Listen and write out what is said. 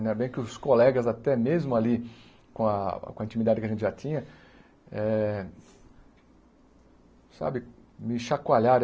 Ainda bem que os colegas, até mesmo ali, com a com a intimidade que a gente já tinha, eh sabe, me chacoalharam.